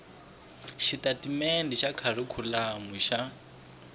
swa xitatimendhe xa kharikhulamu xa